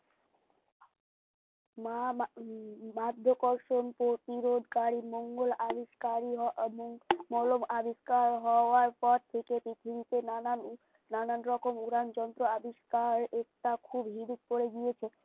মা মা উম বাধ্যাকর সম প্রতিরোধকারী মঙ্গোল আবিস্কারই হও অমঙ্গোল মলম আবিস্কার হওয়ার পর থেকেই পৃথিবীতে নানান নানান রকম উড়ান যন্ত্র আবিষ্কার একটা খুব হিড়িক পরে গিয়েছে